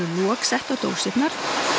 lok sett á dósirnar